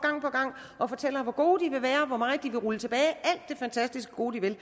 og fortæller hvor gode de vil være hvor meget de vil rulle tilbage alt det fantastisk gode de vil